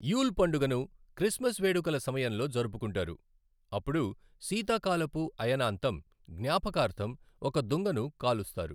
You'll పండుగను Christmas వేడుకల సమయంలో జరుపుకుంటారు, అప్పుడు శీతాకాలపు అయనాంతం జ్ఞాపకార్థం ఒక దుంగను కాలుస్తారు.